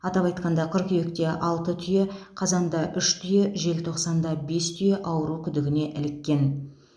атап айтқанда қыркүйекте алты түйе қазанда үш түйе желтоқсанда бес түйе ауру күдігіне іліккен